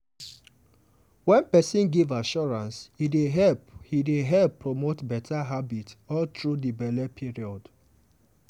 wen person give assurance e dey help e dey help promote better habits all through di belle period.